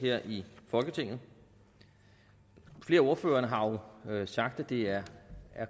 her i folketinget flere af ordførerne har jo sagt at det er